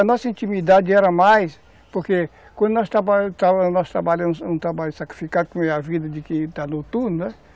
A nossa intimidade era mais... Porque quando nós trabalhamos um trabalho sacrificado, como é a vida de quem está noturno, né?